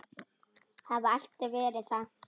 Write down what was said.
Hafa alltaf verið það.